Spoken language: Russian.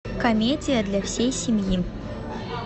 комедия для всей семьи